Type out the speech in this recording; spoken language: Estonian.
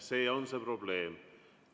See on see probleem.